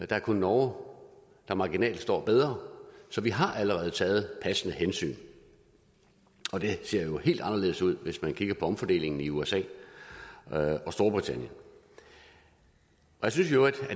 der er kun norge der marginalt står bedre så vi har allerede taget passende hensyn og det ser jo helt anderledes ud hvis man kigger på omfordelingen i usa og storbritannien jeg synes i øvrigt